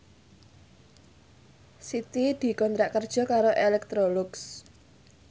Siti dikontrak kerja karo Electrolux